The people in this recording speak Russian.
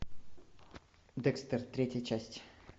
декстер третья часть